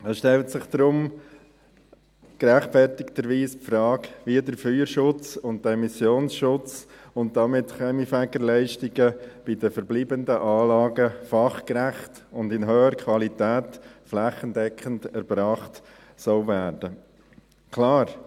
Es stellt sich darum gerechtfertigterweise die Frage, wie der Feuer- und Emissionsschutz und damit die Kaminfegerleistungen bei den verbleibenden Anlagen fachgerecht und in hoher Qualität flächendeckend erbracht werden sollen.